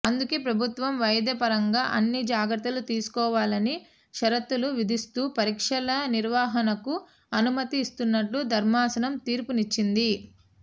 అందుకే ప్రభుత్వం వైద్యపరంగా అన్ని జాగ్రత్తలు తీసుకోవాలని షరతులు విధిస్తూ పరీక్షల నిర్వహణకు అనుమతి ఇస్తున్నట్లు ధర్మాసనం తీర్పునిచ్చింది